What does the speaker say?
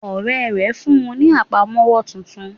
Ọ̀rẹ́ rè fún un ní àpamówọ́ titun